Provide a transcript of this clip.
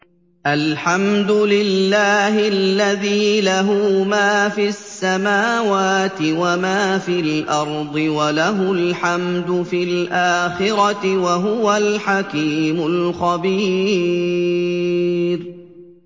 الْحَمْدُ لِلَّهِ الَّذِي لَهُ مَا فِي السَّمَاوَاتِ وَمَا فِي الْأَرْضِ وَلَهُ الْحَمْدُ فِي الْآخِرَةِ ۚ وَهُوَ الْحَكِيمُ الْخَبِيرُ